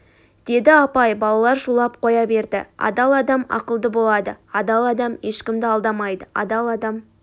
деді апай балалар шулап қоя берді адал адам ақылды болады адал адам ешкімді алдамайды адал адам